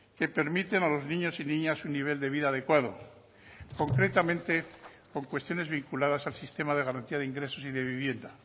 que permiten a los niños y niñas un nivel de vida adecuado concretamente con cuestiones vinculadas al sistema de garantía de ingresos y de vivienda